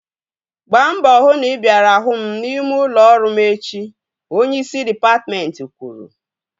Gbaa mbọ hụ na ị bịara hụ m n'ime ụlọ ọrụ m echi! Onyeisi dịpatmentị kwuru